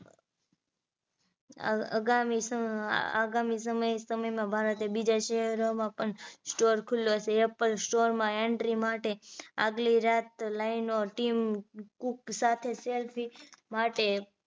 આગામી સમ સમય માં ભારતે બીજા શહેરોમાં પણ store ખુલ્લો છે apple store માં entry માટે આગલી રાત line નો team cook સાથે selfy માટે